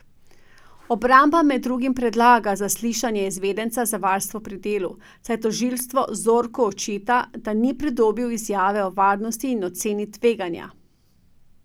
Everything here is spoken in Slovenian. Obramba med drugim predlaga zaslišanje izvedenca za varstvo pri delu, saj tožilstvo Zorku očita, da ni pridobil izjave o varnosti in oceni tveganja.